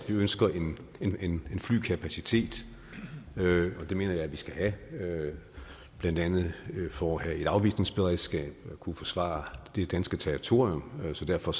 ønsker en en flykapacitet og det mener jeg vi skal have blandt andet for at have et afvisningsberedskab og for at kunne forsvare det danske territorium så derfor